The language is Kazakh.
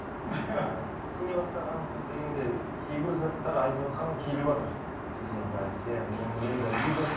сене бастағансыз дегенде кейбір заттар айтыватқан келіватыр сексен пайыз иә менің енді бизнес